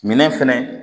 Minɛn fɛnɛ